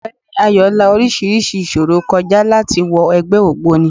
Ógbeni Ayo la orísirísi ìṣòro kọ já láti wọ ẹgbẹ́ ògbóni.